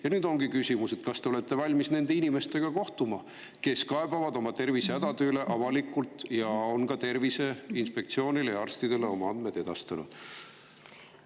Ja nüüd ongi küsimus: kas te olete valmis nende inimestega kohtuma, kes kaebavad oma tervisehädade üle avalikult ja kes on ka ja arstidele oma andmed selle kohta edastanud?